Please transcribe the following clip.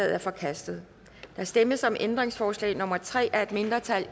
er forkastet der stemmes om ændringsforslag nummer tre af et mindretal